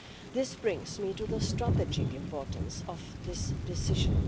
This brings me to the strategic importance of this decision.